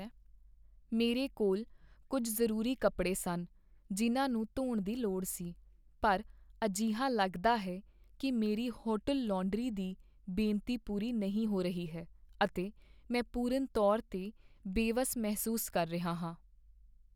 ਮੇਰੇ ਕੋਲ ਕੁੱਝ ਜ਼ਰੂਰੀ ਕੱਪੜੇ ਸਨ ਜਿਨ੍ਹਾਂ ਨੂੰ ਧੋਣ ਦੀ ਲੋੜ ਸੀ, ਪਰ ਅਜਿਹਾ ਲੱਗਦਾ ਹੈ ਕੀ ਮੇਰੀ ਹੋਟਲ ਲਾਂਡਰੀ ਦੀ ਬੇਨਤੀ ਪੂਰੀ ਨਹੀਂ ਹੋ ਰਹੀ ਹੈ, ਅਤੇ ਮੈਂ ਪੂਰਨ ਤੌਰ 'ਤੇ ਬੇਵਸ ਮਹਿਸੂਸ ਕਰ ਰਿਹਾ ਹਾਂ।